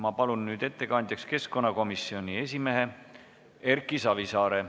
Ma palun ettekandjaks keskkonnakomisjoni esimehe Erki Savisaare.